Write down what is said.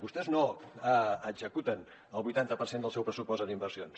vostès no executen el vuitanta per cent del seu pressupost en inversions